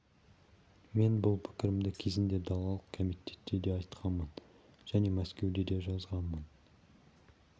мен бұл пікірімді кезінде далалық комитетте де айтқанмын және мәскеуге де жазғанмын